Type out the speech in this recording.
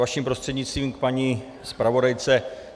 Vaším prostřednictvím k paní zpravodajce.